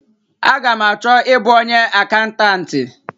A ga m achọ ịbụ onye akaụntanti?